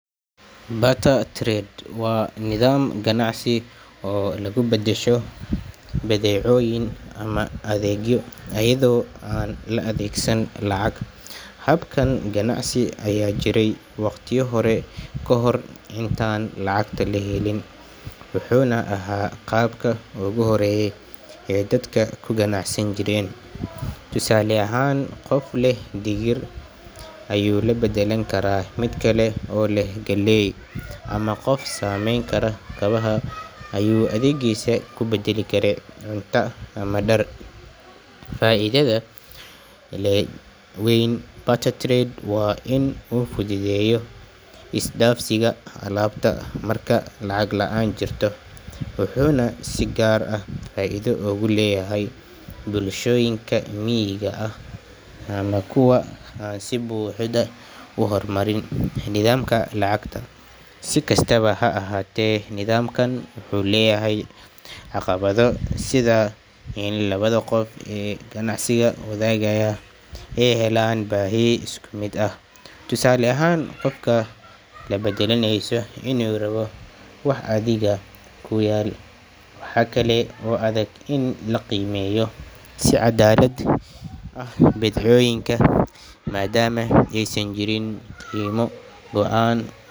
Barter trade wa nidham ganacsi oo lagubadasho badhecoyin ama adhegyo ayadho ann laadhegsan lacag, habkan ganacsi aya jiray waqtiyadhan kahor intan lacagta lahelin wuxuna aha qabka ugu horayay ee dadka kuganac san jiren, tusale ahan qof leh digir ayu labadalan kara midkale o leh galey ama qof sameyn kara kabaha ayu adhegisa kubadali cunta ama dar, faidhadha weyn barter trade wa in qofku jidheyo isdafsiga alabta marka lacag laan jirtoo, wuxuna si gar ahh faidha ugu leyahay bulshoyinka miga ahh ama kuwa ann si buxda uhormarin nidhamka lacagta, sikastaba ha ahate nidhamkan wuxu leyahay caqabadho sidha in labadha qof ee ganacsiga wadhagaya ey helan bahi iskumid ahh, tusale ahan qofka labadalaneysoo inu rabo wax adhiga kuyal, waxa kale o adhag in laqimeyo si cadalad ahh bidcoyinka madama ay san jirin qimo goan.